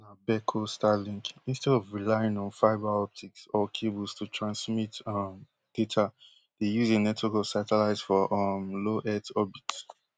beco starlink instead of relying on fibre optics or cables to transmit um data dey use a network of satellites for um low earth orbit